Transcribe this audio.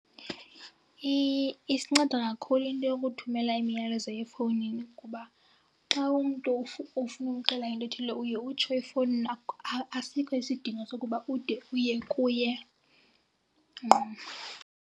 Isinceda kakhulu into yokuthumela imiyalezo efowunini kuba xa umntu ufuna umxelela into ethile uye utsho efowunini, asikho isidingo sokuba ude uye kuye ngqo.